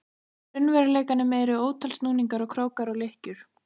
raunveruleikanum eru ótal snúningar og krókar og lykkjur.